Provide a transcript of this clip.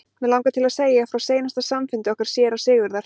Mig langar til að segja frá seinasta samfundi okkar séra Sigurðar.